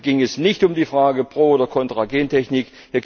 Hier ging es nicht um die Frage pro oder contra Gentechnik.